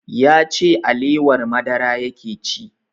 Ya ce alewar madara yake ci